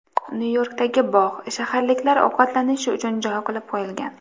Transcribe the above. Nyu-Yorkdagi bog‘, shaharliklar ovqatlanishi uchun joy qilib qo‘yilgan.